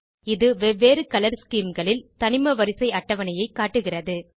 இது வெவ்வேறு colour scheme களில் தனிமவரிசை அட்டவணையை காட்டுகிறது